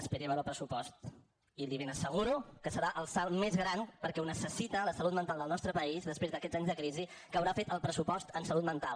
esperi a veure el pressupost i li ben asseguro que serà el salt més gran perquè ho necessita la salut mental del nostre país després d’aquests anys de crisi que haurà fet el pressupost en salut mental